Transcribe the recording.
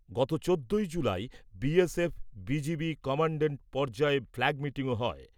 গত চোদ্দোই July BSF BGB commandant পর্যায়ে ফ্ল্যাগ মিটিংও হয়।